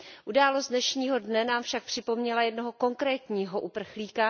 Událost dnešního dne nám však připomněla jednoho konkrétního uprchlíka.